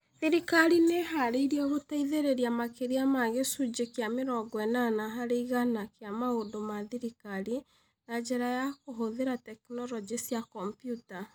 Thirikari nĩ ĩĩhaarĩirie gũteithĩrĩria makĩria ma gĩcunjĩ kĩa mĩrongo ĩnana harĩ igana kĩa maũndũ ma thirikari na njĩra ya kũhũthĩra tekinolonjĩ cia kompiuta.